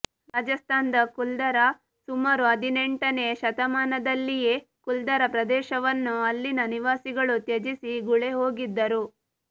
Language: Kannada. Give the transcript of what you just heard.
ರಾಜಸ್ಥಾನದ ಕುಲ್ಧಾರಾ ಸುಮಾರು ಹದಿನೆಂಟನೇ ಶತಮಾನದಲ್ಲಿಯೇ ಕುಲ್ಧಾರಾ ಪ್ರದೇಶವನ್ನು ಅಲ್ಲಿನ ನಿವಾಸಿಗಳು ತ್ಯಜಿಸಿ ಗುಳೆಹೋಗಿದ್ದರು